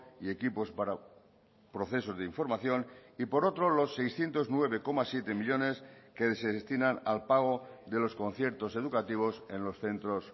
y equipos para procesos de información y por otro los seiscientos nueve coma siete millónes que se destinan al pago de los conciertos educativos en los centros